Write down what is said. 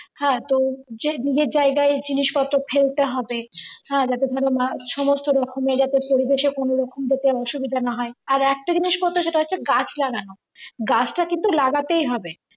হ্যাঁ তো যে নিজের জায়গায় জিনিস পত্র ফেলতে হবে হ্যাঁ যাতে করে সমস্ত রকমের যাতে পরিবেশে কোন রকম ভাবে অসুবিধা না হয়। আর একটা জিনিস কথা সেটা হচ্ছে গাছ লাগানো গাছটা কিন্তু লাগাতেই হবে।